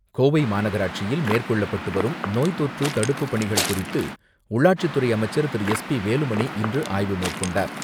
கோவை மாநகராட்சியில் மேற்கொள்ளப்பட்டு வரும் நோய் தொற்று தடுப்புப் பணிகள் குறித்து உள்ளாட்சித்துறை அமைச்சர் திரு எஸ் பி வேலுமணி இன்று ஆய்வு மேற்கொண்டார்.